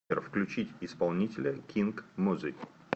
сбер включить исполнителя кинг мози